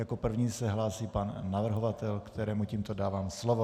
Jako první se hlásí pan navrhovatel, kterému tímto dávám slovo.